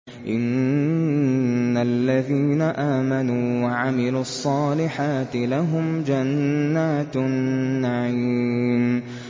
إِنَّ الَّذِينَ آمَنُوا وَعَمِلُوا الصَّالِحَاتِ لَهُمْ جَنَّاتُ النَّعِيمِ